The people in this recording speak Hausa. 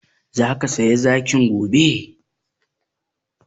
Zaka saya zakin gobe?